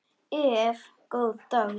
Ef. góðs dags